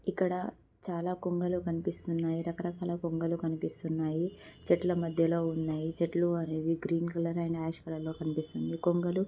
ఇక్కడ చాలా కొంగలు కనిపిస్తున్నాయి.రక రకాల కొంగలు కనిపిస్తున్నాయి. చెట్లు మధ్యలో ఉన్నాయి. చెట్లు అనేవి green colour and ash colour లో కనిపిస్తున్నాయి.కొంగలు--